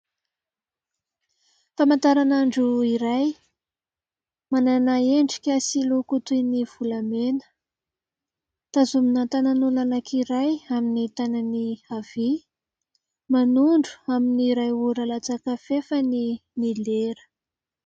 Famantaran'andro iray manana endrika sy loko toy ny volamena, tazomina tanan'olona anankiray amin'ny tanany havia. Manondro amin'ny iray ora latsaka fahefany ny lera.